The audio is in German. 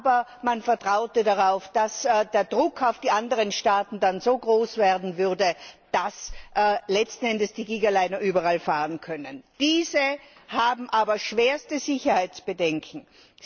Aber man vertraute darauf, dass der Druck auf die anderen Staaten dann so groß werden würde, dass letzten Endes die Gigaliner überall fahren können. Diese weisen aber schwerste Sicherheitsbedenken auf.